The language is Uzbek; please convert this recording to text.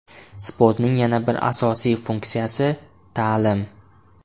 Sportning yana bir asosiy funksiyasi – ta’lim.